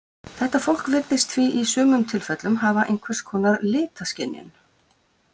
Þetta fólk virðist því í sumum tilfellum hafa einhvers konar litaskynjun.